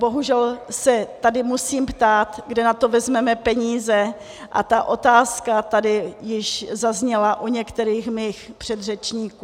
Bohužel se tady musím ptát, kde na to vezmeme peníze, a ta otázka tady již zazněla u některých mých předřečníků.